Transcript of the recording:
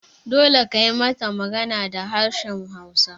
Dole kayi mata magana da harshen hausa!